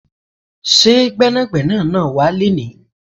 Ṣé Gbẹ́nàgbẹ́nà náà wá léni?